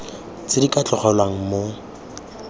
tse di ka tlogelwang mo